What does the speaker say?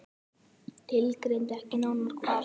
Tilgreindi ekki nánar hvar.